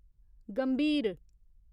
गंभीर